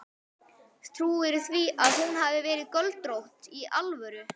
Trúirðu því að hún hafi verið göldrótt. í alvöru?